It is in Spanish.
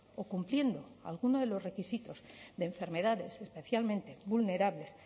o cumpliendo alguno de los requisitos de enfermedades especialmente vulnerables